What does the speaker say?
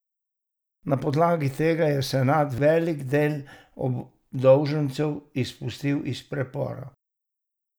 Na podlagi tega je senat velik del obdolžencev izpustil iz pripora.